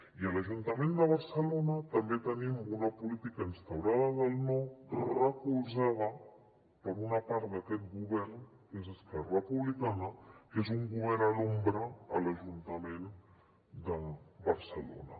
i a l’ajuntament de barcelona també tenim una política instaurada del no recolzada per una part d’aquest govern que és esquerra republicana que és un govern a l’ombra a l’ajuntament de barcelona